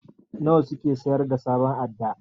Nawa suke sayar da sabon adda?